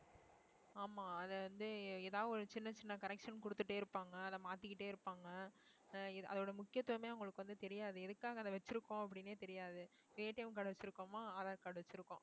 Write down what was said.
ஆமா அது வந்து ஏ~ ஏதாவது ஒரு சின்ன சின்ன correction கொடுத்துட்டே இருப்பாங்க அதை மாத்திக்கிட்டே இருப்பாங்க அஹ் அதோட முக்கியத்துவமே அவங்களுக்கு வந்து தெரியாது எதுக்காக அதை வச்சிருக்கோம் அப்படின்னே தெரியாது card வச்சிருக்கோமா aadhar card வச்சிருக்கோம்